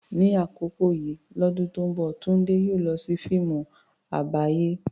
Ní àkókò yìí lọ́dún tó ń bọ̀, Tunde yóò lọ sí fíìmù àgbáyé.